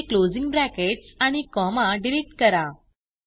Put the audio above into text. येथे closing brackets आणि comma delete करा